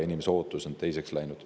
Inimeste ootused on teiseks läinud.